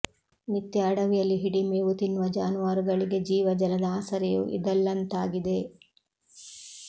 ನಿತ್ಯ ಅಡವಿಯಲ್ಲಿ ಹಿಡಿ ಮೇವು ತಿನ್ನುವ ಜಾನುವಾರುಗಳಿಗೆ ಜೀವ ಜಲದ ಆಸರೆಯೂ ಇದಲ್ಲಂತಾಗಿದೆ